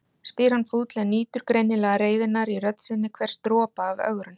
spyr hann fúll en nýtur greinilega reiðinnar í rödd sinni, hvers dropa af ögrun.